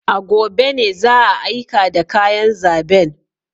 A gobe ne za a aika da kayan zaben.